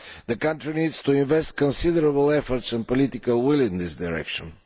The country needs to invest considerable efforts and political will in this direction.